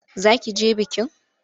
Za ki je bikin?